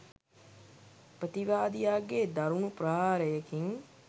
ප්‍රතිවාදියාගේ දරුණු ප්‍රහාරයකින්